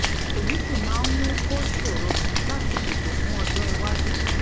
èyí sì máa ń mú kó ṣòro láti seto fun ojó iwájú